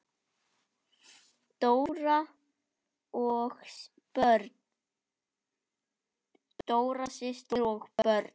Dóra systir og börn.